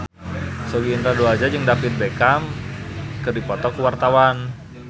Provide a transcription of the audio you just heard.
Sogi Indra Duaja jeung David Beckham keur dipoto ku wartawan